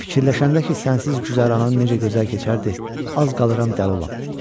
Fikirləşəndə ki, sənsiz güzəranın necə gözəl keçərdi, az qalıram dəli olam.